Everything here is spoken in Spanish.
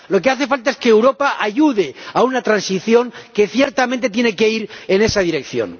Lo que hace falta es que Europa ayude a una transición que, ciertamente, tiene que ir en esa dirección.